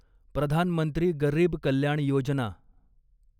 Pradhan Mantri Garib Kalyan Yojana